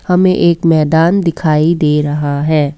हमें एक मैदान दिखाई दे रहा है।